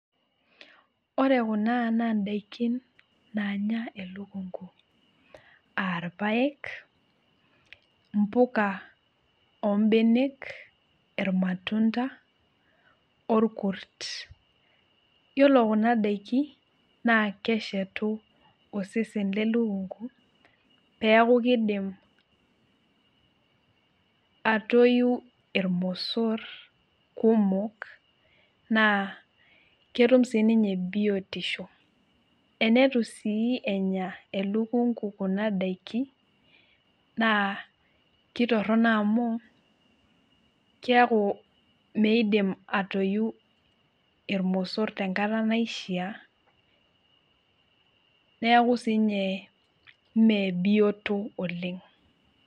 ore kuna naa idakin naanya elukunku aa irpayek, impuka, oo ibenek, imatunda, olkurt, iyiolo kuna daikin naa keshetu, osesen lekunku pee eku kidim atoyu ilpayek, ilmosor, kumok, naa ketum sii ninye biotisho, enetu sii enya elukunku kuna daikin, kitoronok amu keek eyu ilmosor tenkata naishaa.